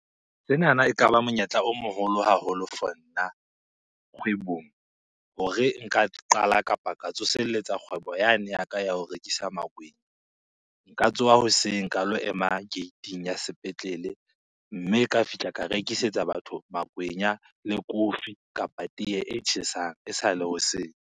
Senana ekaba monyetla o moholo haholo for nna kgwebong. Hore nka qala kapa ka tsoselletsa kgwebo yane ya ka ya ho rekisa makwenya. Nka tsoha hoseng ka lo ema gate-ing ya sepetlele mme ka fihla ka rekisetsa batho makwenya le kofi, kapa teye e tjhesang esale hoseng.